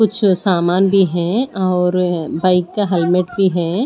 कुछ सामान भी है और बाइक का हेलमेट भी है।